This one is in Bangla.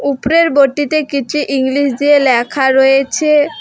উপরের বোর্ডটিতে কিছু ইংলিশ দিয়ে ল্যাখা রয়েছে।